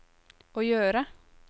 å gjøre